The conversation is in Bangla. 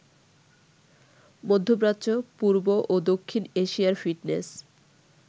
মধ্যপ্রাচ্য, পূর্ব ও দক্ষিণ এশিয়ার ফিটনেস